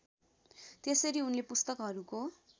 त्यसरी उनले पुस्तकहरूको